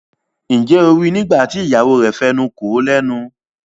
Njé O rí ní nígbàtí ìyàwó rẹ fí enú kò lénu?